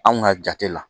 Anw ka jate la